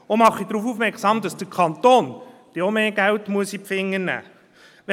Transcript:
Ich mache auch darauf aufmerksam, dass auch der Kanton dann mehr Geld in die Finger nehmen muss.